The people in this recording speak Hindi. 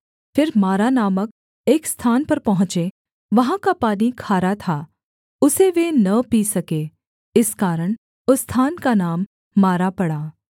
फिर मारा नामक एक स्थान पर पहुँचे वहाँ का पानी खारा था उसे वे न पी सके इस कारण उस स्थान का नाम मारा पड़ा